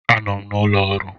Anọ m n'ụlọ ọrụ.